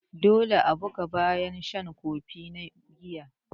Dole a bugu bayan shan kofi biyar na giya.